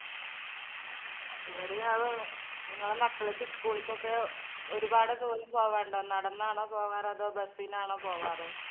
എവിടെയാണ് നിങ്ങളെ മക്കളൊക്കെ school കൊക്കെ ഒരുപാട് ദൂരം പോകാനുണ്ടോ നടന്നാണോ പോകാറ് അതോ bus നാണോ പോകാറ്?